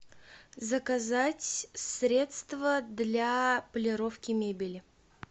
заказать средство для полировки мебели